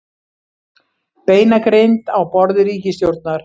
Beinagrind á borði ríkisstjórnar